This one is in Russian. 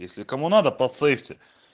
если кому надо по цельсию